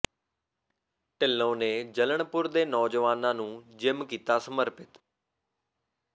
ਢਿੱਲੋਂ ਨੇ ਜਲਣਪੁਰ ਦੇ ਨੌਜਵਾਨਾਂ ਨੂੰ ਜਿੰਮ ਕੀਤਾ ਸਮਰਪਿਤ